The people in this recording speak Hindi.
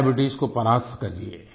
डायबीट्स को परास्त करिए